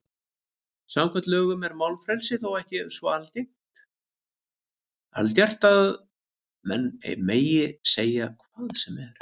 Samkvæmt lögum er málfrelsi þó ekki svo algert að menn megi segja hvað sem er.